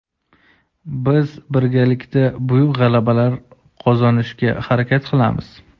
Biz birgalikda buyuk g‘alabalar qozonishga harakat qilamiz.